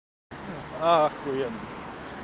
ахуенно